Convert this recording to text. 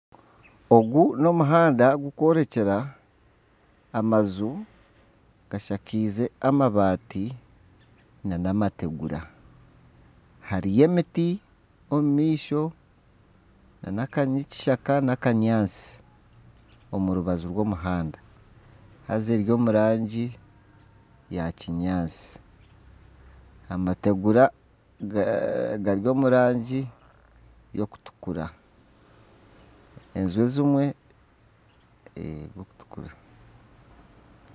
Ogu n'omuhanda gukworekyera amaju gashakize amabaati nana amategura hariyo emiti omu maisho nana aka n'ekishaka n'akanyaatsi omu rubaju rw'omuhanda haaza eri omu rangi ya kinyaatsi, amategura gari omu rangi y'okutukura enju ezimwe zirikutukura.